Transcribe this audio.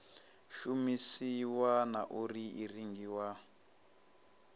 shumisiwa na uri i rengiwa